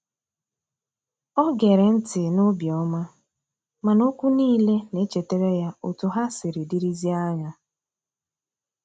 o gere nti n'obioma, mana okwu nile na echetara ya otu ha siri dirizie anya.